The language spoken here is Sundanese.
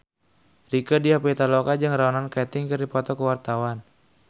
Rieke Diah Pitaloka jeung Ronan Keating keur dipoto ku wartawan